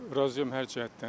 Razıyam hər cəhətdən.